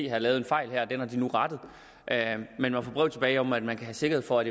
har lavet en fejl her den har de nu rettet men man får brev tilbage om at man kan have sikkerhed for at